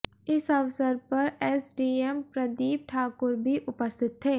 इस अवसर पर एसडीएम प्रदीप ठाकुर भी उपस्थित थे